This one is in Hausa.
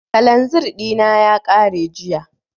Kalanzir ɗina ya ƙare jiya